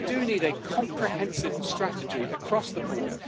We do need a comprehensive strategy across the board.